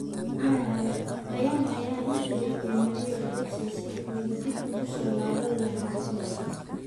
(Marca) Bayern ayaa la xiriirtay Mario Gotze sidii uu dib ugu soo laaban lahaa kooxda.